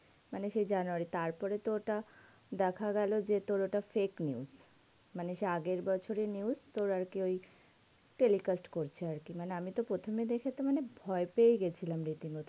মানে সেই January তার পর তো সে ওটা দেখা গেল যে তোর ওটা fake news. মানে সে আগের বছর এর news তোর আর কি ওই talecast করছে আর কি মানে আমি তো প্রথমে দেখে তো মানে ভয় পেয়ে গেছিলাম রীতি মত,